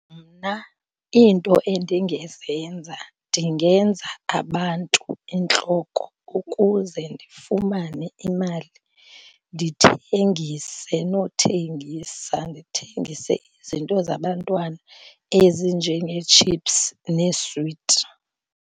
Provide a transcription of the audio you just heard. Mna iinto endingezenza, ndingenza abantu intloko ukuze ndifumane imali. Ndithengise nothengisa. Ndithengise izinto zabantwana ezinjengee-chips neeswiti.